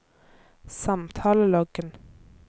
samtaleloggen